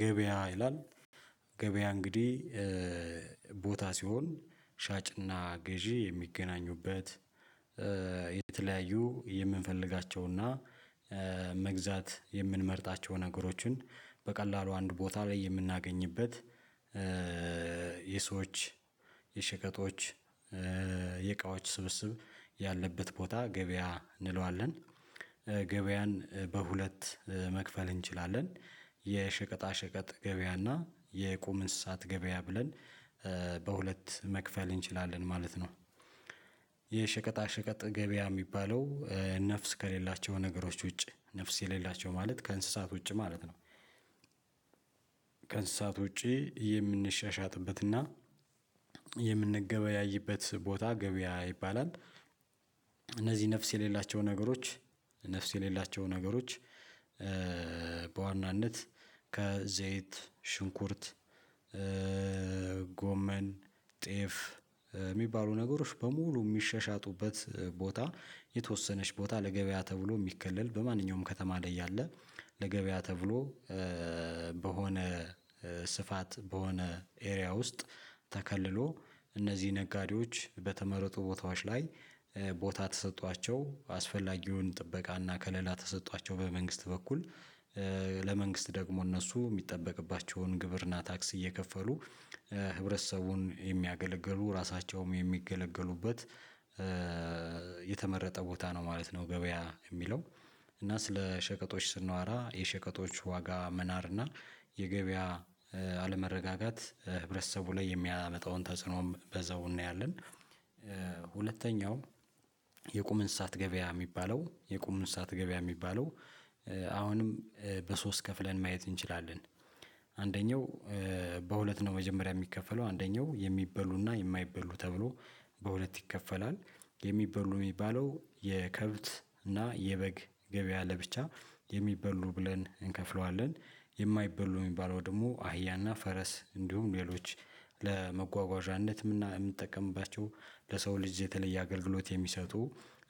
ገበያ ይላል ገበያ እንግዲህ ቦታ ሲሆን ሻጭና ገዢ የሚገናኙበት የተለያዩ የምንፈልጋቸውና መግዛት የምንመርጣቸው ነገሮችን በቀላሉ አንድ ቦታ ላይ የምናገኝበት። የሰዎች የሸቀጦች የእቃዎች ስብስብ ያለበት ቦታ ገበያ እንለዋለን። ገበያን በሁለት መክፈል እንችላለን የሸቀጣ ሸቀጥ ገበያና የቁም እንስሳት ገበያ ብለን በሁለት መክፈል እንችላለን ማለት ነው። የሸቀጣ ሸቀጥ ገበያ የሚባለው ነፍስ ከሌላቸው ነገሮች ውጪ ነፍስ የሌላቸው ማለት ከእንስሳት ውጪ ማለት ነው። ከእንስሳት ውጪ የምንሻሻጥበትና የምንገበያይበት ቦታ ገበያ ይባላል። እነዚህ ነፍስ የሌላቸው ነገሮች ነፍስ የሌላቸው ነገሮች። በዋናነት ከዘይት ሽንኩርት ጎመን ጤፍ የሚባሉ ነገሮች በሙሉ የሚሻሻጡበት ቦታ የተወሰነች ቦታ ለገበያ ተብሎ የሚከለል በማንኛውም ከተማ ላይ ያለ ለገበያ ተብሎ በሆነ ስፋት በሆነ ኤሪያ ውስጥ። ተከልሎ እነዚህ ነጋዴዎች በተመረጡ ቦታዎች ላይ ቦታ ተሰጥቷቸው አስፈላጊውን ጥበቃ እና ከለላ ተሰጧቸው በመንግስት በኩል ለመንግስት ደግሞ እነሱ የሚጠበቅባቸውን ግብርና ታክስ እየከፈሉ ህብረተሰቡን የሚያገለግሉ ራሳቸውም የሚገለገሉበት የተመረጠ ቦታ ነው ማለት ነው። ገበያ የሚለው እና ስለ ሸቀጦች ስናወራ የሸቀጦች ዋጋ መናር እና የገበያ አለመረጋጋት ህብረተሰቡ ላይ የሚያመጣውን ተጽዕኖም በዛው እናያለን። ሁለተኛው የቁም እንስሳት ገበያ የሚባለው የቁም እንስሳት ገበያ የሚባለው አሁንም በሶስት ከፍለን ማየት እንችላለን። አንደኛው በሁለት ነው መጀመሪያ የሚከፈለው አንደኛው የሚበሉና የማይበሉ ተብሎ በሁለት ይከፈላል። የሚበሉ የሚባለው የከብት እና የበግ ገበያ ለብቻ የሚበሉ ብለን እንከፍለዋለን። የማይበሉ የሚባለው ደግሞ አህያና ፈረስ እንዲሁም ሌሎች ለመጓጓዣነት የምነ የምንጠቀምባቸው ለሰው ልጅ የተለየ አገልግሎት የሚሰጡ